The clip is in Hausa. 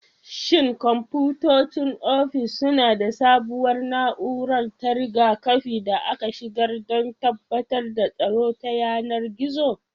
Shin kwamfutocin ofis suna da sabuwar na'urar ta riga-kafi da aka shigar don tabbatar da tsaro ta yanar gizo?